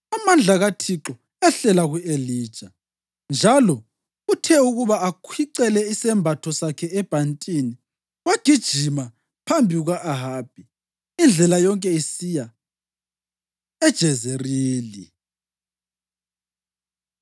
Amandla kaThixo ehlela ku-Elija, njalo uthe ukuba akhwicele isembatho sakhe ebhantini wagijima phambi kuka-Ahabi indlela yonke esiya eJezerili.